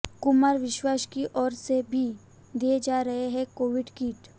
कुमार विश्वास की ओर से भी दिए जा रहे हैं कोविड किट